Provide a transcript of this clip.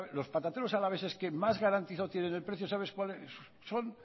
los patateros alaveses que más garantizado tiene el precio sabes cuáles son